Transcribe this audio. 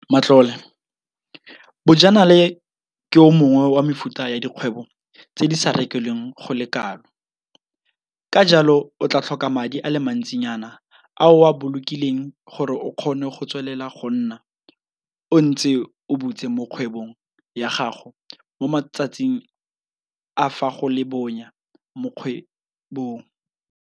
Matlole - Bojanala ke o mongwe wa mefuta ya dikgwebo tse di sa rekelweng go le kalo, ka jalo o tla tlhoka madi a le mantsi nyana a o a bolokileng gore o kgone go tswelela go nna o ntse o butse mo kgwebong ya gago mo matsatsing a fa go le bonya mo kgwebong.